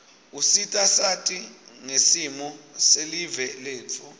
usita sati ngsimo selive letfu